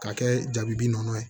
K'a kɛ jabi bi nɔnɔ ye